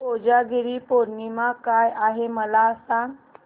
कोजागिरी पौर्णिमा काय आहे मला सांग